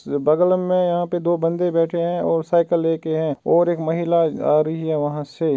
बगल मे यहाँ पे दो बन्दे बैठे है और साइकिल लेके हैं और एक महिला आ रही है वहाँ से।